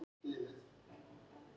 Á vit álfa-